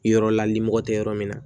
Yɔrɔ lali mɔgɔ tɛ yɔrɔ min na